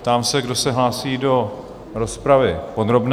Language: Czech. Ptám se, kdo se hlásí do rozpravy podrobné?